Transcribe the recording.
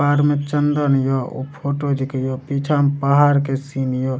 कपार में चंदन ये उ फोटो जे कहियो पीछा मे पहाड़ के सीन ये।